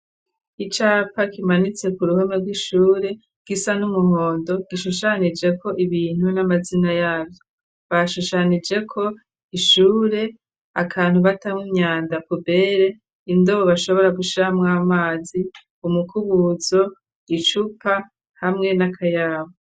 Icapa kimanitse ku ruhome rw'ishure gisa n'umuhondo gishushanije ko ibintu n'amazina yavyo bashushanije ko ishure akantu batamw'inyanda pubere indobo bashobora gushamwa amazi umukubuzo icupa hamwe n'akayabu.